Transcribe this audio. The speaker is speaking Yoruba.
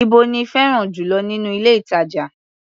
Íbo lí fẹ́ràn jù lọ nínú ilé-ìtàjà?